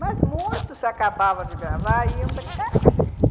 Mas muitos, se acabavam de gravar, iam brincar com a gente.